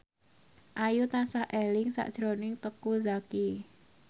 Ayu tansah eling sakjroning Teuku Zacky